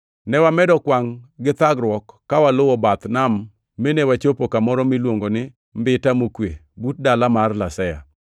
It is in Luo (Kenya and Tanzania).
Ne wamedo kwangʼ gi thagruok ka waluwo bath nam mine wachopo kamoro miluongo ni Mbita Mokwe, but dala mar Lasea.